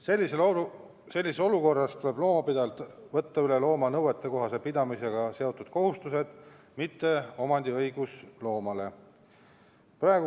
Sellises olukorras tuleb loomapidajalt võtta üle looma nõuetekohase pidamisega seotud kohustused, mitte omandiõigus.